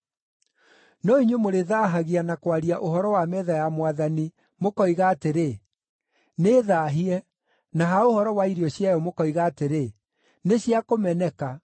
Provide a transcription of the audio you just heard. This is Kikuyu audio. “No inyuĩ mũrĩthaahagia na kwaria ũhoro wa metha ya Mwathani mũkoiga atĩrĩ, ‘Nĩĩthaahie,’ na ha ũhoro wa irio ciayo mũkoiga atĩrĩ, ‘Nĩ cia kũmeneka.’ ”